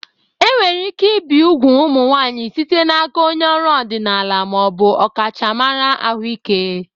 Enwere ike ibi úgwù ụmụ nwanyị site n'aka onye ọrụ ọdịnala ma ọ bụ ọkachamara ahụike